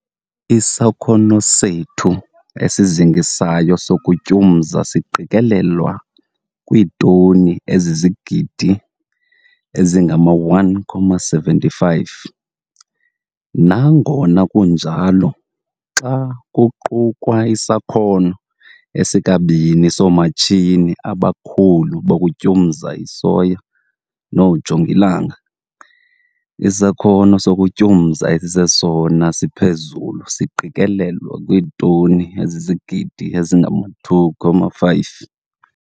Isakhono sethu esizingisayo sokutyumza siqikelelwa kwiitoni ezizigidi ezi-1,75. Nangona kunjalo, xa kuqukwa isakhono esikabini soomatshini abakhulu abatyumza isoya noojongilanga, isakhono sokutyumza esisesona siphezulu siqikelelwa kwiitoni ezizigidi ezi-2,5.